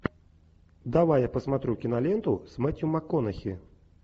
давай я посмотрю киноленту с мэтью макконахи